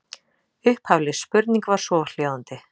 Upphafleg spurning var svohljóðandi: